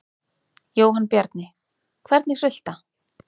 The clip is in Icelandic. Jóhann Bjarni: Hvernig sulta?